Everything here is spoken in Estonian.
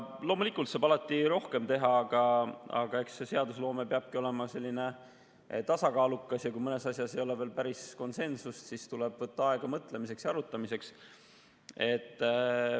Loomulikult saab alati rohkem teha, aga eks seadusloome peabki olema tasakaalukas ja kui mõnes asjas ei ole veel päris konsensust, siis tuleb võtta aega mõtlemiseks ja arutamiseks.